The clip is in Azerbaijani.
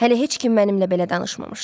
Hələ heç kim mənimlə belə danışmamışdı.